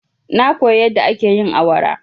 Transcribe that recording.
Na koya yadda ake yin awara.